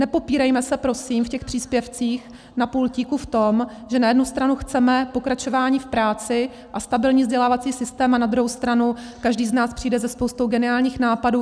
Nepopírejme se prosím v těch příspěvcích na pultíku v tom, že na jednu stranu chceme pokračování v práci a stabilní vzdělávací systém a na druhou stranu každý z nás přijde se spoustou geniálních nápadů.